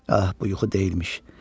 Ax, bu yuxu deyilmiş.